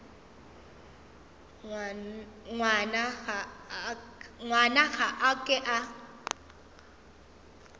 ngwana ga a ke a